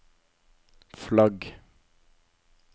flagg